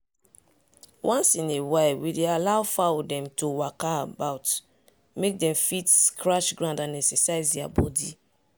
once in a while we dey allow fowl dem to waka about mek dem fit scratch ground and exercise their body.